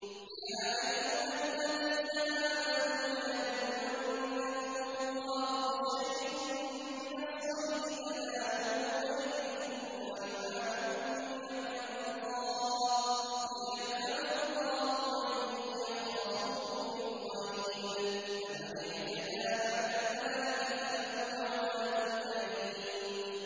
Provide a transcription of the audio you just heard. يَا أَيُّهَا الَّذِينَ آمَنُوا لَيَبْلُوَنَّكُمُ اللَّهُ بِشَيْءٍ مِّنَ الصَّيْدِ تَنَالُهُ أَيْدِيكُمْ وَرِمَاحُكُمْ لِيَعْلَمَ اللَّهُ مَن يَخَافُهُ بِالْغَيْبِ ۚ فَمَنِ اعْتَدَىٰ بَعْدَ ذَٰلِكَ فَلَهُ عَذَابٌ أَلِيمٌ